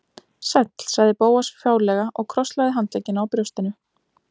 Sæll- sagði Bóas fálega og krosslagði handleggina á brjóstinu.